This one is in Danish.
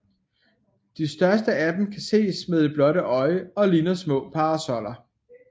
De største af dem kan ses med det blotte øje og ligner små parasoller